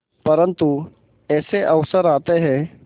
परंतु ऐसे अवसर आते हैं